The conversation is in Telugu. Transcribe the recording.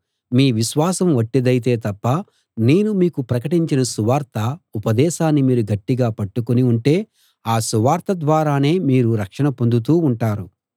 మీ విశ్వాసం వట్టిదైతే తప్ప నేను మీకు ప్రకటించిన సువార్త ఉపదేశాన్ని మీరు గట్టిగా పట్టుకుని ఉంటే ఆ సువార్త ద్వారానే మీరు రక్షణ పొందుతూ ఉంటారు